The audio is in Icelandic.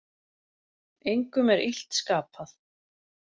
Engum er illt skapað.